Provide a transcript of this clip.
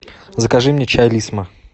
закажи мне чай лисма